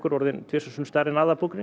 orðin tvisvar sinnum stærri en